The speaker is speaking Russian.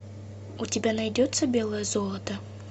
у тебя найдется белое золото